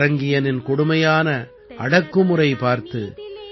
பரங்கியனின் கொடுமையான அடக்குமுறை பார்த்து